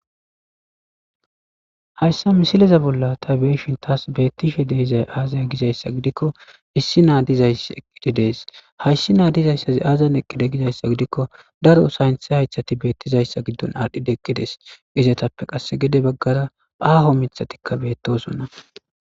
hayssa misileza bolla ta beeshintas beettishe deizay aazaya gizayssa gidikko issi naa dizays eqqididees hayssi naa Dizayssazi aazzan eqqide gizayssa gidikko daro sayntha haythati beettizayssa giddon aadhdhide eqqides gizatappe qasse gede baggara aaho mithatikka beettosonna.